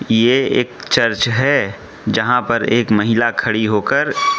ये एक चर्च है जहां पर एक महिला खड़ी होकर--